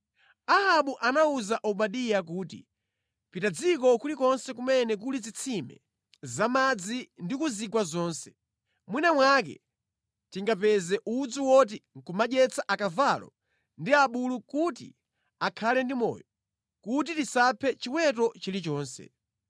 Ahabu anawuza Obadiya kuti, “Pita mʼdziko kulikonse kumene kuli zitsime za madzi ndi ku zigwa zonse. Mwina mwake tingapeze udzu oti nʼkumadyetsa akavalo ndi abulu kuti akhale ndi moyo, kuti tisaphe chiweto chilichonse.”